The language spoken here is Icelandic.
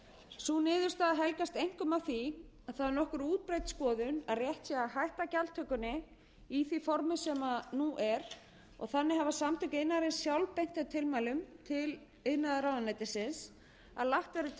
sú niðurstaða helgast einkum af því að það er nokkuð útbreidd skoðun að rétt sé að hætta gjaldtökunni í því formi sem nú er og þannig hafi samtök iðnaðarins sjálf beint þeim tilmælum til iðnaðarráðuneytisins að lagt verði til að